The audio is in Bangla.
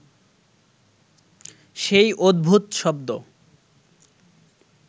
সেই অদ্ভুত শব্দ